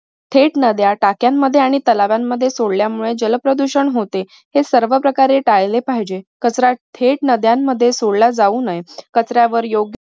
थेट नद्या, टाक्यांमध्ये आणि तलावांमध्ये सोडल्यामुळे जल प्रदूषण होते. ते सर्व प्रकारे टाळले पाहिजे. कचरा थेट नद्यांमध्ये सोडला जाऊ नये कचऱ्यावर योग्य